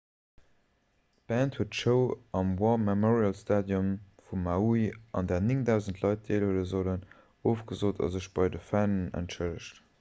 d'band huet d'show am war memorial stadium vun maui un där 9 000 leit deelhuele sollten ofgesot a sech bei de fannen entschëllegt